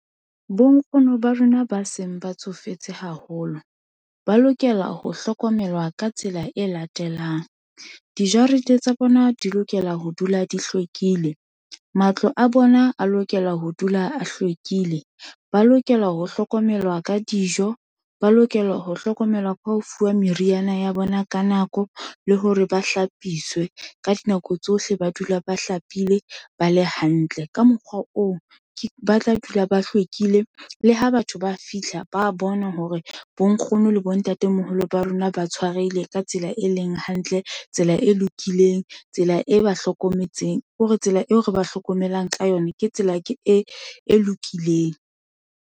Bo nkgono ba rona ba seng ba tsofetse haholo, ba lokela ho hlokomelwa ka tsela e latelang. Dijarete tsa bona di lokela ho dula di hlwekile, matlo a bona a lokela ho dula a hlwekile, ba lokela ho hlokomelwa ka dijo, ba lokela ho hlokomelwa ka ho fuwa meriana ya bona ka nako, le hore ba hlapiswe, ka dinako tsohle ba dula ba hlapile, ba le hantle. Ka mokgwa oo, ke ba tla dula ba hlwekile, le ha batho ba fihla ba bona hore bonkgono le bontatemoholo ba rona, ba tshwarehile ka tsela e leng hantle, tsela e lokileng, tsela e ba hlokometseng, kore tsela eo re ba hlokomelang ka yona, ke tsela e lokileng.